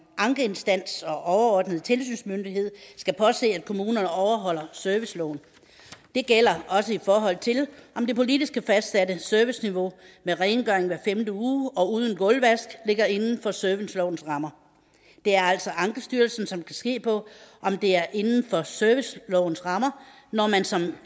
ankeinstans og overordnet tilsynsmyndighed skal påse at kommunerne overholder serviceloven det gælder også i forhold til om det politisk fastsatte serviceniveau med rengøring hver femte uge og uden gulvvask ligger inden for servicelovens rammer det er altså ankestyrelsen som kan se på om det er inden for servicelovens rammer når man som